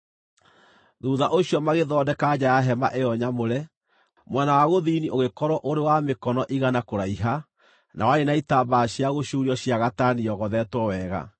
Thuutha ũcio magĩthondeka nja ya hema ĩyo nyamũre. Mwena wa gũthini ũgĩĩkĩrwo ũrĩ wa mĩkono igana kũraiha, na warĩ na itambaya cia gũcuurio cia gatani yogothetwo wega.